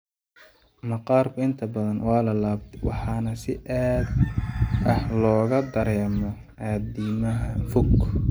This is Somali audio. Maqaarka inta badan waa laalaabtay waxaana si aad ah looga dareemo addimada fog.